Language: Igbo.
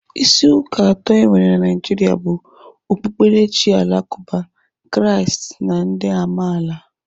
Isi ụka atọ enwere na Naijiria bụ okpukperechi alakụba, Kraist na ndị amaala.